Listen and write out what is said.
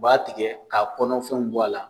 U b'a tigɛ k'a kɔnɔfɛnw bɔ a la